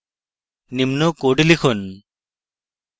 নিম্ন code লিখুন